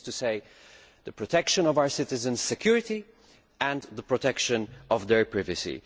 that is to say, the protection of our citizens' security and the protection of their privacy.